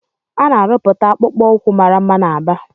Ana arụputa akpụkpọ ukwu màrà mma na Aba.